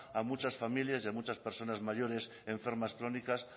a muchas familias y a muchas personas mayores enfermas crónicas